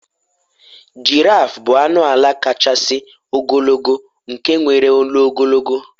giraffe bụ anụ ala kachasị ogologo nke nwere olu ogologo